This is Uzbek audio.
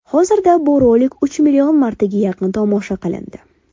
Hozirda bu rolik uch million martaga yaqin tomosha qilindi.